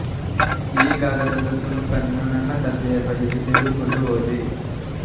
ಈ ಕಾಗದದ ತುಣುಕನ್ನು ನನ್ನ ತಂದೆಯ ಬಳಿಗೆ ತೆಗೆದುಕೊಂಡು ಹೋದೆ